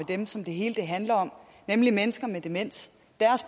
dem som det hele handler om nemlig mennesker med demens